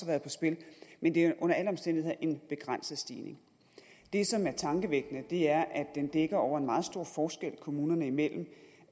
været på spil men det er under alle omstændigheder en begrænset stigning det som er tankevækkende er at den dækker over en meget stor forskel kommunerne imellem